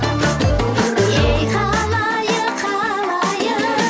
ей халайық халайық